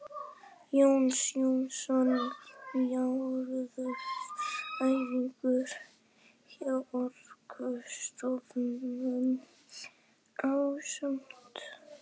Jón Jónsson jarðfræðingur hjá Orkustofnun ásamt